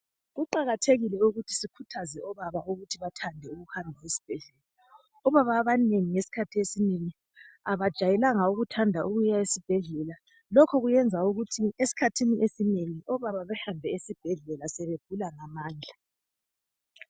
Kuqakathekile ukuthi sikhuthaze obaba ukuthi bathande ukuhambe esibhedlela. Obaba abanengi ngesikhathi esinengi abajayelanga ukuthanda ukuyesibhedlela lokhu kwenza ukuthi esikhathini esinengi obaba bahambe esibhedlela sebegula ngamandla.